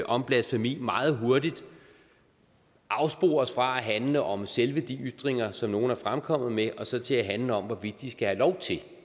om blasfemi meget hurtigt afspores fra at handle om selve de ytringer som nogle er fremkommet med og så til at handle om hvorvidt de skal have lov til